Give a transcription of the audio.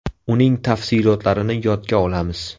Uning tafsilotlarini yodga olamiz.